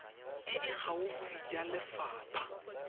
e e gaufi ya lefapha